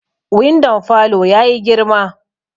Windon falo ya yi girma